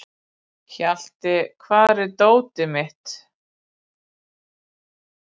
Hjalti, hvar er dótið mitt?